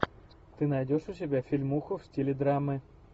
ты найдешь у себя фильмуху в стиле драмы